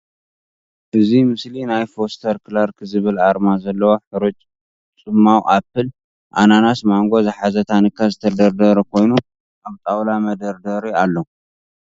እዚ ምስሊ ናይ ፎስተር ክላርክ ዝብል ኣርማ ዘለዎ ሕሩጭ ጽማቑ ኣፕል፥ ኣናናስ፥ ማንጎ ዝሓዘ ታኒካ ዝተደርደረ ኮይኑ ኣብ ጣዉላ መደርደሪ ኣሎ።